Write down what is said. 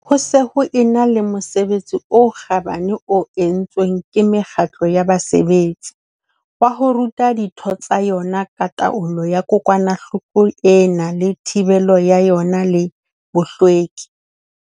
Ho se ho e na le mosebetsi o kgabane o entsweng ke mekgatlo ya basebetsi, wa ho ruta ditho tsa yona ka taolo ya kokwanahloko ena le thibelo ya yona le bohlweki.